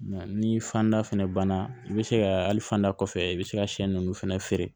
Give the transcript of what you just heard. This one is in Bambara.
ni fanda fɛnɛ banna i bɛ se ka hali fanda kɔfɛ i bɛ se ka sɛ ninnu fɛnɛ feere